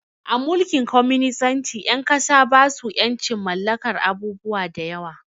A Mulkin kwaminisanci ƴan ƙasa basu ƴancin mallakar abubuwa da yawa